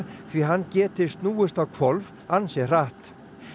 því hann geti snúist á hvolf ansi hratt